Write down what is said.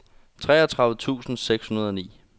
treogtredive tusind seks hundrede og ni